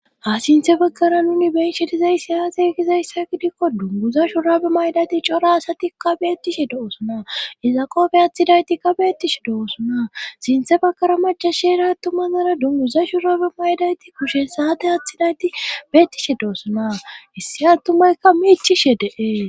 ha sinthe baggara nuni beinshedizay siyaate gizayssa gidikko dunguza shurabe maydati cora asatikka beettishe do7osuna izaqoobe aathidayti ka beettishe do7osuna sinthe bakara majashera attumanara dunguza shurabe maydayti kushe saate aathidayti beettishe doosona issi attumaykka miichishe de7ee.